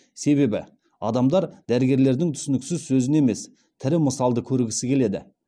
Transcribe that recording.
себебі адамдар дәрігерлердің түсініксіз сөзін емес тірі мысалды көргісі келеді